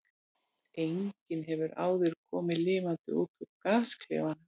Enginn hefur áður komið lifandi út úr gasklefanum.